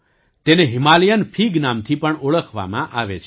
તેને Himalayan fig નામથી પણ ઓળખવામાં આવે છે